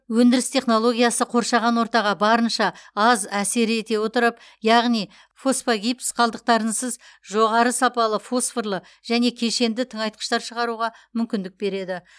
өндіріс технологиясы қоршаған ортаға барынша аз әсер ете отырып яғни фосфогипс қалдықтарынсыз жоғары сапалы фосфорлы және кешенді тыңайтқыштар шығаруға мүмкіндік береді